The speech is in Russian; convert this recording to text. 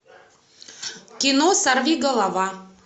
кино сорви голова